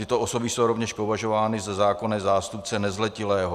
Tyto osoby jsou rovněž považovány za zákonné zástupce nezletilého.